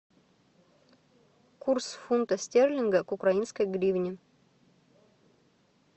курс фунта стерлинга к украинской гривне